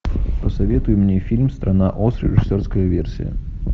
посоветуй мне фильм страна оз режиссерская версия